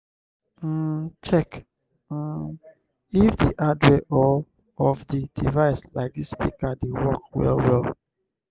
um check um if di hardware of di device like di speaker dey work well well